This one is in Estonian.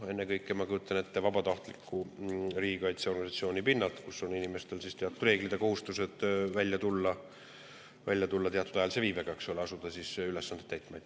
Ennekõike ma kujutan ette vabatahtliku riigikaitseorganisatsiooni inimestel kehtivad teatud reeglid ja kohustused kohale tulla ja asuda ülesandeid täitma.